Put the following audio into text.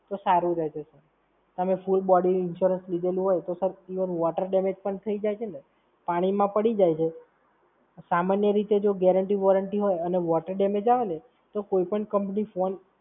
તો સારું રહે છે. તમે full body Insurance લીધેલું હોય તો sir ઇવન Water damage પણ થઈ જાય છે ને, પાણીમાં પડી જાય છે, સામાન્ય રીતે જો Guarantee Warranty હોય અને Water damage આવે ને, તો કોઈ પણ Company ફોન